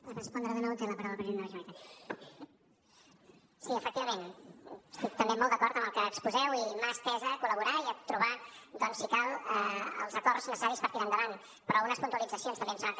sí efectivament estic també molt d’acord amb el que exposeu i mà estesa a collaborar i a trobar doncs si cal els acords necessaris per tirar endavant però unes puntualitzacions també em sembla que